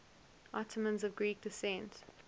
ottomans of greek descent